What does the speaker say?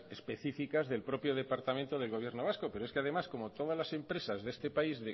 específicas del propio departamento del gobierno vasco pero es que además como todas las empresas de este país